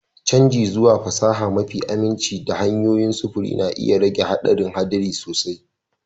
Canji zuwa fasaha mafi aminci da hanyoyin sufuri na iya rage haɗarin haɗari sosai.